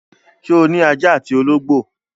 Ṣé o ní ajá àti olóńgbò l?